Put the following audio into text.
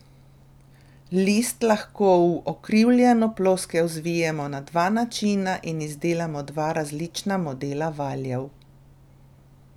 List lahko v ukrivljeno ploskev zvijemo na dva načina in izdelamo dva različna modela valjev.